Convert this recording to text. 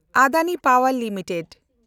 ᱟᱰᱟᱱᱤ ᱯᱟᱣᱮᱱᱰ ᱞᱤᱢᱤᱴᱮᱰ